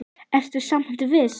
Ertu samt viss?